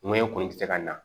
Ŋo ɲɛ kɔni ti se ka na